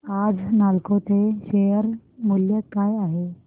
आज नालको चे शेअर मूल्य काय आहे